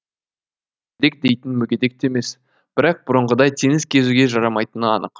мүгедек дейтін мүгедек те емес бірақ бұрынғыдай теңіз кезуге жарамайтыны анық